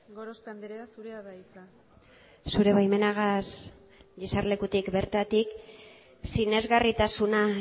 gorospe andrea zurea da hitza zure baimenarekin eserlekutik bertatik sinesgarritasuna